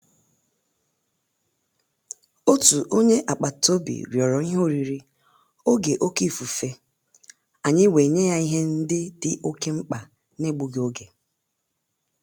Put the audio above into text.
Òtù ó nyé ágbàtà-òbì rị́ọ̀rọ̀ ìhè órírí ògè òké ífùfé, ànyị́ wèé nyé yá ìhè ndị́ dì òké mkpá n’égbúghị́ ògè.